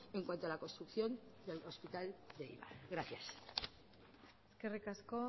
en cuanto a la construcción del hospital de eibar gracias eskerrik asko